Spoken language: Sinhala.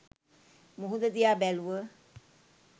මුහුද දිහා බැලුව.